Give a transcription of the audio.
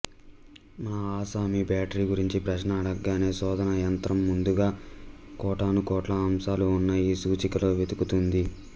మన ఆసామీ బేటరీ గురించి ప్రశ్న అడగగానే శోధన యంత్రం ముందుగా కోటానుకోట్ల అంశాలు ఉన్న ఈ సూచికలో వెతుకుతుంది